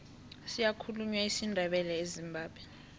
siyakhulunywa isindebele ezimbabwe